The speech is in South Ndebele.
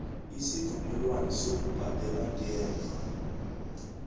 isivumelwano sokubhadela ngemva